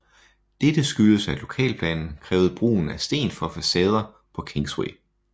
Dette skyldtes at lokalplanen krævede brugen af sten for facader på Kingsway